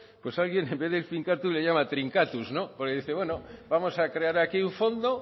pues alguien en vez del finkatuz le llama trinkatuz no porque dice bueno vamos a crear aquí un fondo